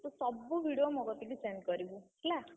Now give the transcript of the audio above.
ତୁ ସବୁ video ମୋ କତିକି send କରିବୁ, ହେଲା।